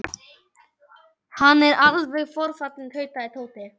Hann er alveg forfallinn tautaði Tóti.